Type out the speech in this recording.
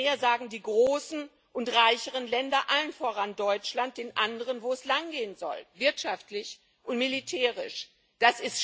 Mehr und mehr sagen die großen und reicheren Länder allen voran Deutschland den anderen, wo es wirtschaftlich und militärisch langgehen soll.